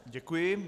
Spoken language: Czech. Děkuji.